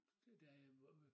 Da jeg var